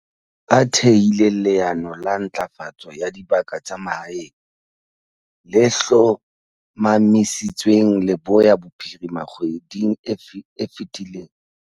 A thehile leano la Ntlafatso ya Dibaka tsa Mahaeng, le hlomamisitsweng Leboya Bophirima kgweding e fetileng.